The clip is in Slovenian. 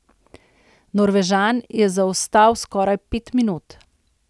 Norvežan je zaostal skoraj pet minut.